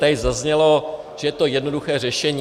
Tady zaznělo, že je to jednoduché řešení.